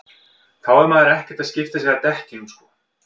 þá er maður ekkert að skipta sér að dekkjunum sko